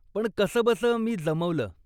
पण कसंबसं मी जमवलं.